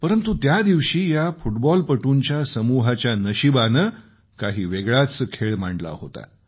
परंतु त्यादिवशी या फुटबॉलपटुंच्या संघाच्या नशिबानं काही वेगळाच खेळ मांडला होता